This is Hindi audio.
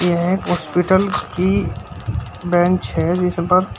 यह एक हॉस्पिटल की बेंच है जिस पर--